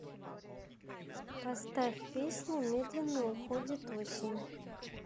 поставь песня медленно уходит осень